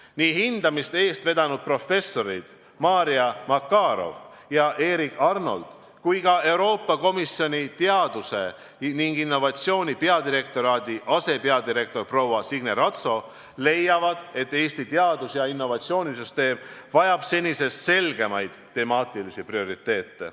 Nii hindamist eest vedanud professorid Marja Makarow ja Erik Arnold kui ka Euroopa Komisjoni teaduse ja innovatsiooni peadirektoraadi asepeadirektor proua Signe Ratso leiavad, et Eesti teadus- ja innovatsioonisüsteem vajab senisest selgemaid temaatilisi prioriteete.